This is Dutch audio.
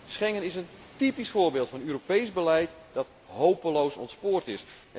Schengen is een typisch voorbeeld van een Europees beleid dat hopeloos ontspoord is.